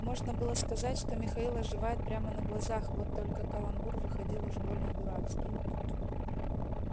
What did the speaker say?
можно было сказать что михаил оживает прямо на глазах вот только каламбур выходил уж больно дурацкий